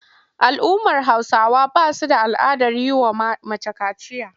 Al'ummar Hausawa ba su da al'adar yi wa mace kaciya.